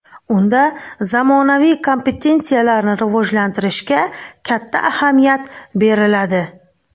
Unda zamonaviy kompetensiyalarni rivojlantirishga katta ahamiyat beriladi.